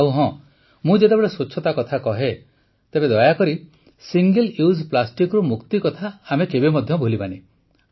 ଆଉ ହଁ ମୁଁ ଯେତେବେଳେ ସ୍ୱଚ୍ଛତା କଥା କହେ ତେବେ ଦୟାକରି ସିଙ୍ଗଲ ୟୁଜ୍ ପ୍ଲାଷ୍ଟିକ୍ରୁ ମୁକ୍ତି କଥା ଆମେ କେବେ ମଧ୍ୟ ଭୁଲିବା ନାହିଁ